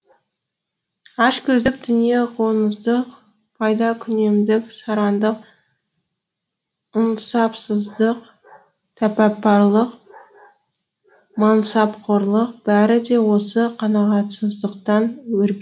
ашкөздік дүниеқоңыздық пайдакүнемдік сараңдық ынсапсыздық тәпапарлық мансапқорлық бәрі де осы қанағатсыздықтан өр